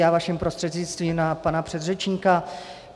Já vaším prostřednictvím na pana předřečníka.